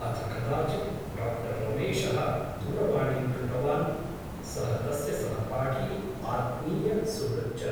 अथ कदाचित् डा रमेशः दूरवाणीं कृतवान् । सः तस्य सहपाठी आत्मीय सुहृत् च ।